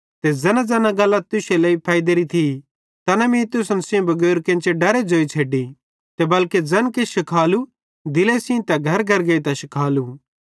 ते ज़ैनाज़ैना गल्लां तुश्शे लेइ फैइदेरी थी तैना मीं तुसन सेइं बगैर केन्चेरे डरे तुसन सेइं ज़ोई छ़ेड्डी ते बल्के ज़ैन किछ भी शिखालु दिले सेइं ते घरघर गेइतां शिखालु